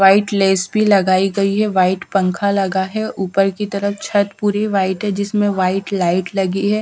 White lace भी लगाई गई है वाइट पंखा लगा है ऊपर की तरफ़ छत पूरी वाइट है जिसमें वाइट लाइट लगी है।